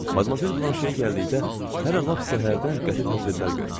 Madmazel Blanşeyə gəldikdə, hələ lap səhərdən qəti tədbirlər görmüşdü.